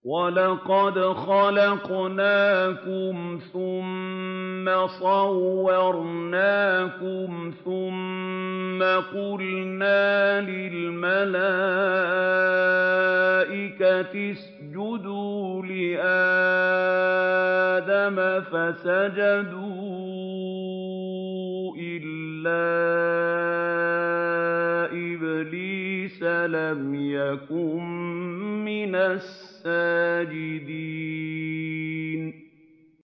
وَلَقَدْ خَلَقْنَاكُمْ ثُمَّ صَوَّرْنَاكُمْ ثُمَّ قُلْنَا لِلْمَلَائِكَةِ اسْجُدُوا لِآدَمَ فَسَجَدُوا إِلَّا إِبْلِيسَ لَمْ يَكُن مِّنَ السَّاجِدِينَ